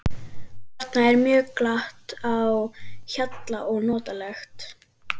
Þarna er mjög glatt á hjalla og notalegt.